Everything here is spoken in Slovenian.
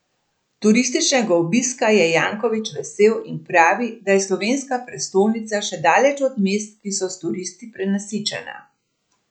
Turističnega obiska je Janković vesel in pravi, da je slovenska prestolnica še daleč od mest, ki so s turisti prenasičena.